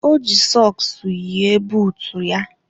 O ji sọks yie buutu ya.